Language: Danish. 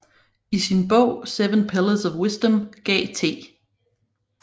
I sin bog Seven Pillars of Wisdom gav T